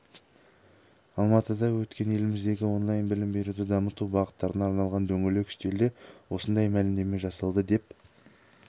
алматыда өткен еліміздегі онлайн білім беруді дамыту бағыттарына арналған дөңгелек үстелде осындай мәлімдеме жасалды деп